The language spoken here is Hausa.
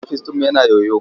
Ofis ɗinmu yana yoyo.